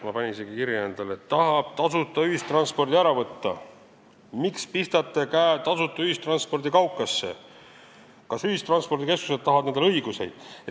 Ma panin neid isegi endale kirja: "Tahab tasuta ühistranspordi ära võtta.", "Miks pistate käe tasuta ühistranspordi kaukasse?", "Kas ühistranspordikeskused tahavad endale õiguseid?".